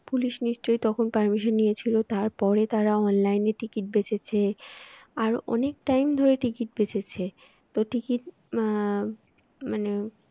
police নিশ্চয়ই তখন permission নিয়েছিল তার পরে তারা online এ ticket বেঁচেছে আরো অনেক time ধরে ticket বেঁচেছে ticket আহ আহ